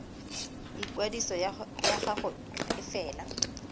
ikwadiso ya gago e fela